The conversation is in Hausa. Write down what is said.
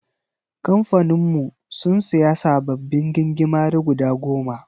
Kamfanin mu sun siya sababbin gingimari guda goma/